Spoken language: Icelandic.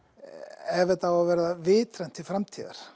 ef þetta á að vera vitrænt til framtíðar